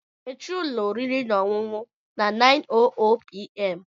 Mechie ụlọ oriri na ọṅụṅụ na 9:00pm!